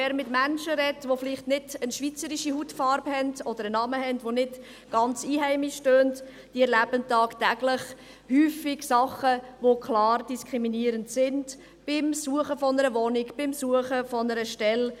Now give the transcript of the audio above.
Wer mit Menschen spricht, die vielleicht nicht eine schweizerische Hautfarbe haben, oder einen Namen, der nicht ganz einheimisch tönt – die erleben tagtäglich häufig Dinge, die klar diskriminierend sind, beim Suchen einer Wohnung, beim Suchen einer Stelle.